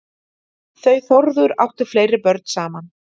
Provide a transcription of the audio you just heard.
Þau Þórður áttu fleiri börn saman.